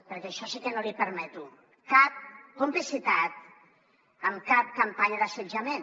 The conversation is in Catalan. perquè això sí que no l’hi permeto cap complicitat amb cap campanya d’assetjament